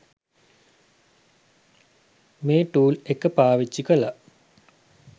මේ ටූල් එක පාවිච්චි කළා